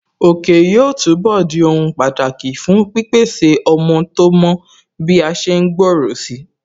Òkè yóò túnbọ̀ di ohun pàtàkì fún pípèsè ọmọ tó mọ́ bí a ṣe ń gbòòrò si